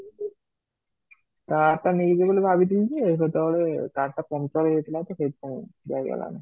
car ଟା ନେଇକି ଯିବି ବୋଲି ଭାବିଥିଲି ଯେ, କେତେବେଳେ car ଟା puncher ହେଇ ଯାଇଥିଲା ତ ସେଥି ପାଇଁ ଯାଇ ହେଲା ନାହିଁ